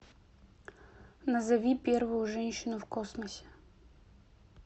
назови первую женщину в космосе